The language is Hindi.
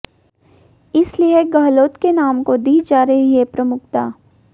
इसलिए गहलोत के नाम को दी जा रही है प्रमुखता